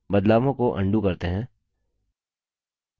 बदलावों को अन्डू करते हैं